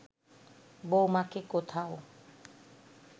বউমাকে কোথাও